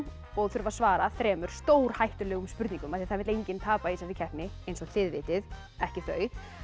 og þurfa að svara þremur stórhættulegum spurningum af því það vill enginn tapa í þessari keppni eins og þið vitið ekki þau